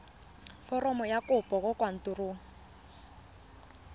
foromo ya kopo kwa kantorong